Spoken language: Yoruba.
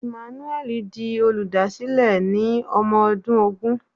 Emmanuel di olùdásílẹ̀ ní ọmọ ọdún ogún.